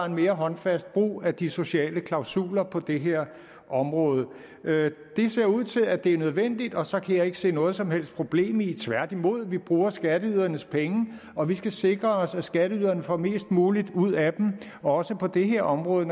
en mere håndfast brug af de sociale klausuler på det her område det ser ud til at det er nødvendigt og så kan jeg ikke se noget som helst problem i det tværtimod vi bruger skatteydernes penge og vi skal sikre os at skatteyderne får mest muligt ud af dem også på det her område